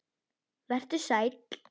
Vertu sæll.